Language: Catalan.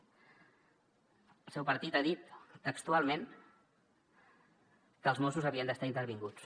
el seu partit ha dit textualment que els mossos havien d’estar intervinguts